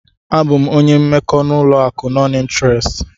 Abụ m onye mmekọ n'ụlọ akụ nọn ịnterest.